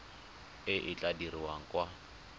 e e tla dirwang kwa